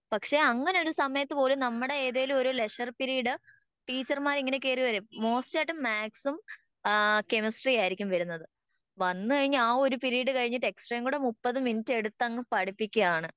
പക്ഷെ അങ്ങനൊരു സമയത്ത് പോലും നമ്മുടെ ഏതേലും ഒരു ലെഷർ പീരീഡ് ടീച്ചർമാർ ഇങ്ങനെ കേറി വരും മൊസ്റ്റായിട്ടും മാത്‍സും ആഹ് കെമിസ്ട്രിയും ആയിരിക്കും വെരുന്നത് വന്ന് കഴിഞ്ഞാൽ ആ ഒരു പിരീഡ് കഴിഞ്ഞിട്ട് എക്സ്ട്രേകൂടെ മുപ്പത് മിനുറ്റ് എടുത്തങ്ങ് പഠിപ്പിക്കെയാണ്